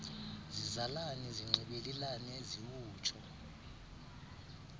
zizalane zinxibelelane ziwutsho